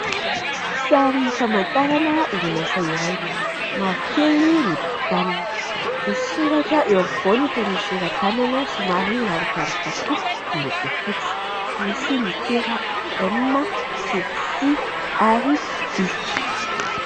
Sary famantarana orin'asa iray. Mavokely ny tokontaniny. Misy soratra eo afovoaniny toy ny soratanana somary rangodrangotr'akoho miloko fotsy. Misy litera M sy S ary V.